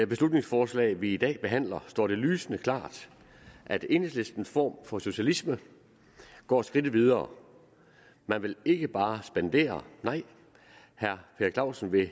beslutningsforslag vi i dag behandler står det lysende klart at enhedslistens form for socialisme går skridtet videre man vil ikke bare spendere nej herre per clausen vil